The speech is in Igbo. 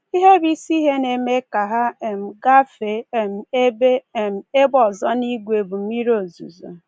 Ihe bụ isi ihe na-eme ka ha um gafee um ebe um ebe ọzọ n’ìgwe bụ mmiri ozuzo.